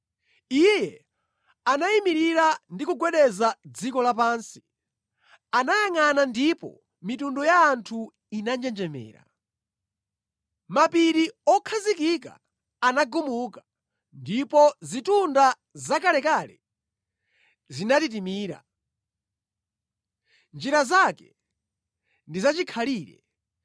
Iye anayimirira ndi kugwedeza dziko lapansi; anayangʼana ndipo mitundu ya anthu inanjenjemera. Mapiri okhazikika anagumuka ndipo zitunda zakalekale zinatitimira. Njira zake ndi zachikhalire.